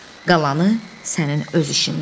Qalanı sənin öz işindir.